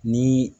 Ni